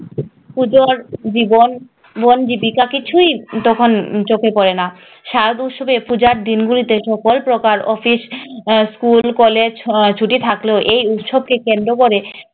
পুজোর জীবন জীবিকা কিছুই তখন চোখে পড়েনা শারদোৎসবে পূজার দিনগুলিতে সকল প্রকার office আহ school college ছুটি থাকলেও এই উৎসবকে কেন্দ্র করে